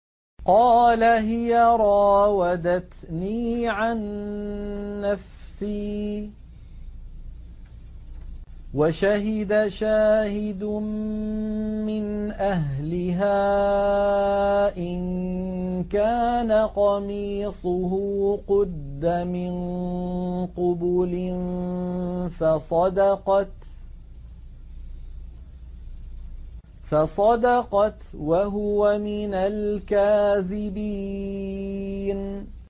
قَالَ هِيَ رَاوَدَتْنِي عَن نَّفْسِي ۚ وَشَهِدَ شَاهِدٌ مِّنْ أَهْلِهَا إِن كَانَ قَمِيصُهُ قُدَّ مِن قُبُلٍ فَصَدَقَتْ وَهُوَ مِنَ الْكَاذِبِينَ